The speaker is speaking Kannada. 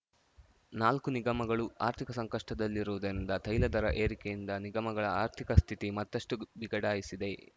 ನಾಲ್ಕು ನಿಗಮಗಳು ಆರ್ಥಿಕ ಸಂಕಷ್ಟದಲ್ಲಿರುವುದರಿಂದ ತೈಲ ದರ ಏರಿಕೆಯಿಂದ ನಿಗಮಗಳ ಆರ್ಥಿಕ ಸ್ಥಿತಿ ಮತ್ತಷ್ಟುಬಿಗಡಾಯಿಸಿದೆ